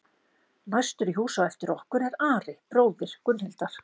Næstur í hús á eftir okkur er Ari, bróðir Gunnhildar.